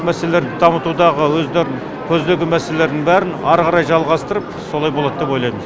мәселелерді дамытудағы өздерінің көздеген мәселелердің бәрін ары қарай жалғастырып солай болады деп ойлаймын